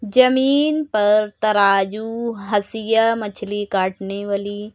जमीन पर तराजू हसिया मछली काटने वाली--